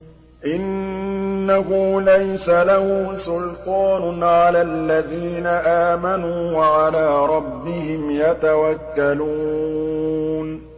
إِنَّهُ لَيْسَ لَهُ سُلْطَانٌ عَلَى الَّذِينَ آمَنُوا وَعَلَىٰ رَبِّهِمْ يَتَوَكَّلُونَ